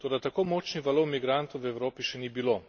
Toda tako močnih valov migrantov v Evropi še ni bilo.